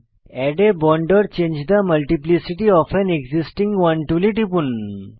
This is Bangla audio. add a bond or change the multiplicity of an existing one টুলে টিপুন